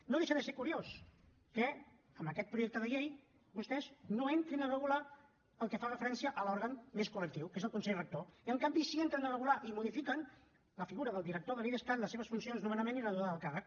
no deixa de ser curiós que en aquest projecte de llei vostès no entrin a regular el que fa referència a l’òrgan més col·lectiu que és el consell rector i en canvi sí que entren a regular i modifiquen la figura del director de l’idescat les seves funcions nomenament i la durada del càrrec